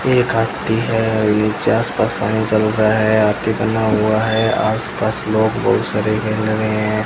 एक हाथी है और नीचे आस पास पानी चल रहा है हाथी बना हुआ है आस पास लोग बहुत सारे खेल रहे हैं।